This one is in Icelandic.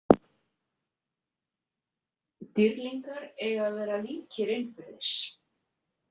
Dýrlingar eiga að vera líkir innbyrðis.